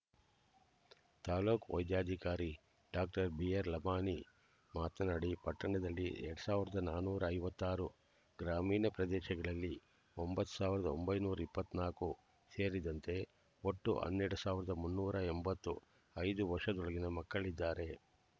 ತಾಲ್ಲೂಕ್ ವೈದ್ಯಾಧಿಕಾರಿ ಡಾಕ್ಟರ್ ಬಿಆರ್ಲಮಾಣಿ ಮಾತನಾಡಿ ಪಟ್ಟಣದಲ್ಲಿ ಎರಡ್ ಸಾವಿರದ ನಾನೂರ ಐವತ್ತಾರು ಗ್ರಾಮೀಣ ಪ್ರದೇಶಗಳಲ್ಲಿ ಒಂಬತ್ತ್ ಸಾವಿರದ ಒಂಬೈನೂರ ಇಪ್ಪತ್ತ್ ನಾಕು ಸೇರಿದಂತೆ ಒಟ್ಟು ಹನ್ನೆರಡ್ ಸಾವಿರದ ಮುನ್ನೂರ ಎಂಬತ್ತು ಐದು ವರ್ಷದೊಳಗಿನ ಮಕ್ಕಳಿದ್ದಾರೆ